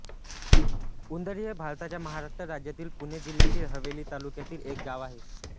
उंदरी हे भारताच्या महाराष्ट्र राज्यातील पुणे जिल्ह्यातील हवेली तालुक्यातील एक गाव आहे